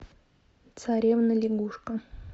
царевна лягушка